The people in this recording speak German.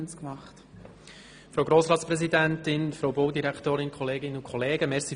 Danke, dass ich noch schnell einige Bemerkungen nachholen darf.